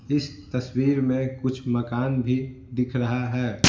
इस तस्वीर में कुछ मकान भी दिख रहा है।